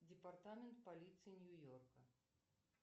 департамент полиции нью йорка